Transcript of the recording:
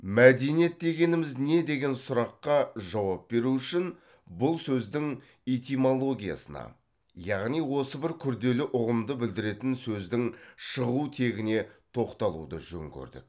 мәдениет дегеніміз не деген сұраққа жауап беру үшін бұл сөздің этимологиясына яғни осы бір күрделі ұғымды білдіретін сөздің шығу тегіне тоқталуды жөн көрдік